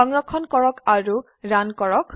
সংৰক্ষণ কৰক আৰু ৰান কৰক